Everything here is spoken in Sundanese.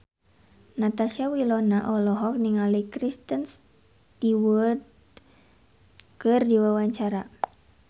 Natasha Wilona olohok ningali Kristen Stewart keur diwawancara